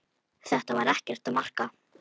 Þetta er ekkert að marka.